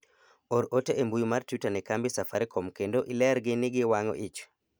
or ote e mbui mar twita ne kambi safarikom kendo ilergi ni giwang'o ich